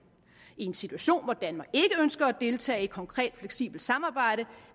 i en situation hvor danmark ikke ønsker at deltage i et konkret fleksibelt samarbejde